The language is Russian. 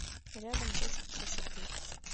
рядом точка красоты